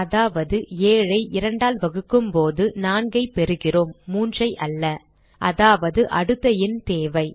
அதாவது 7 ஐ 2 ஆல் வகுக்கும் போது 4 ஐ பெறுகிறோம் 3 அல்ல அதாவது அடுத்த எண் தேவை